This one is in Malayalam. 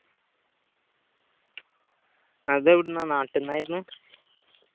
അതെവിടുന്ന നാട്ടിന്നായിരുന്ന്